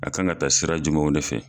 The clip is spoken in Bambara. A kan ka taa sira jumɛnw de fɛ.